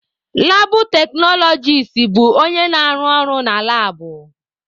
Labụ teknọlọgis bụ onye na-arụ ọrụ na labụ.